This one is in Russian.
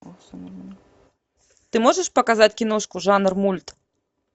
ты можешь показать киношку жанр мульт